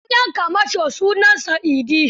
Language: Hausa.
Shugaban 'yan kamashon sunansa Idi.